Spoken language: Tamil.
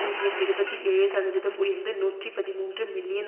ஊதியம் இருபத்தி ஏழு சதவீதம் உயர்ந்து நூற்றி பதிமூன்று மில்லியன்